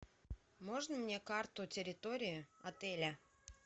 можно мне карту территории отеля